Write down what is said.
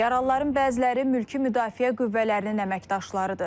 Yaralıların bəziləri mülki müdafiə qüvvələrinin əməkdaşlarıdır.